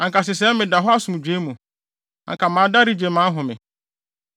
Anka sesɛɛ meda hɔ asomdwoe mu; anka mada regye mʼahome